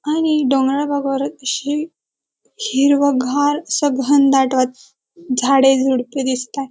आणि डोंगराळ भागावर अतिशय हिरवगार असा घनदाट वाट झाडे झुडपे दिसतात.